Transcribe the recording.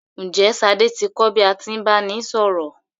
Ǹjẹ́ Ṣadé ti kò bí a tí ń báni sọ̀rọ̀?